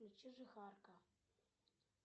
включи жихарка